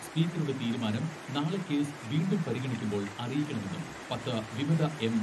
സ്പീക്കറുടെ തീരുമാനം നാളെ കേസ് വീണ്ടും പരിഗണിക്കുമ്പോൾ അറിയിക്കണമെന്നും പത്ത് വിമത എം.